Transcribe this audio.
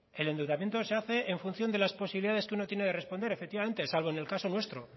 el endeudamiento se hace en función de las posibilidades que uno tiene de responder efectivamente salvo en el caso nuestro